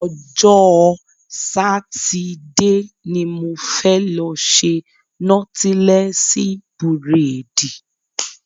Ọjọ́ Sátidé ni mo fẹ́ lọ ṣe nọ́tílẹ́sí búrèdì